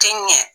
Tɛ ɲɛ